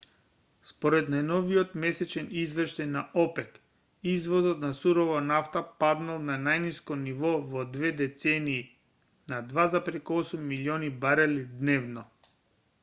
според најновиот месечен извештај на опек извозот на сурова нафта паднал на најниско ниво во две децении на 2,8 милиони барели дневно